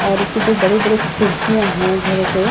और इसके दो बड़े-बड़े खिड़कियां हैं झरोके --